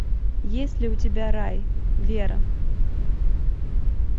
есть ли у тебя рай вера